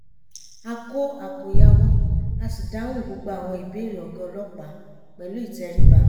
a kó àkòyawọ́ a sì dáhùn gbogbo àwọn ìbéèrè ọ̀gá ọlọ́pàá pẹ̀lú ìtẹríba